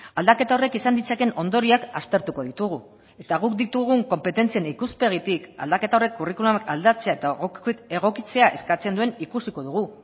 aldaketa horrek izan ditzakeen ondorioak aztertuko ditugu eta guk ditugun konpetentzien ikuspegitik aldaketa horrek kurrikuluma aldatzea eta egokitzea eskatzen duen ikusiko dugu